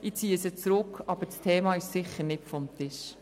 Ich ziehe diese Motion zurück, aber das Thema ist sicher nicht vom Tisch.